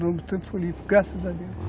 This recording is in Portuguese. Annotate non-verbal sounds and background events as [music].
O nome, [unintelligible] graças a Deus.